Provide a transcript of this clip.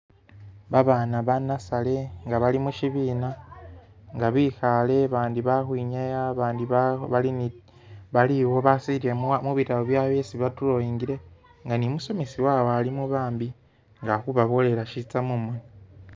Babana ba'nursery nga bali mushibina nga bikhale abandi balikhwinyaa abandi bakhu bali baliwo basili mubitabu byawe byesi ba'drawingile nga ne umusomesa wawe alimo bambi ngali khubabolela shitsa mumoni